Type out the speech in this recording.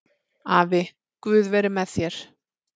Afi, guð veri með þér